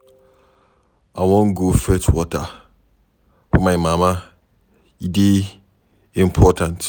I wan go fetch water for my mama, e dey important.